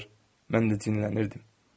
Mən də cinlənirdim.